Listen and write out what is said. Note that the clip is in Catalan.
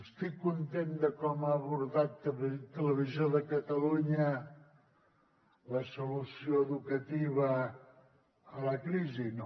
estic content de com ha abordat televisió de catalunya la solució educativa a la crisi no